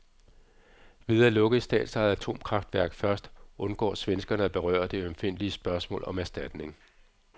Ved at lukke et statsejet atomkraftværk først, undgår svenskerne at berøre det ømfindtlige spørgsmål om erstatning.